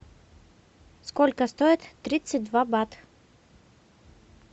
сколько стоит тридцать два бат